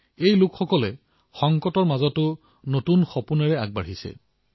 এওঁলোকে সংকটৰ মাজতো নতুন নতুন সপোন ৰচি ওলাই আহিছে